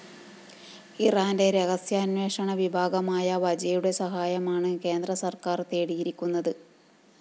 ഇറാന്റെ രഹസ്യാന്വേഷണ വിഭാഗമായ വജയുടെ സഹായമാണ് കേന്ദ്രസര്‍ക്കാര്‍ തേടിയിരിക്കുന്നത്